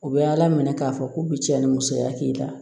U bɛ ala minɛ k'a fɔ k'u bɛ cɛn ni musoya k'i la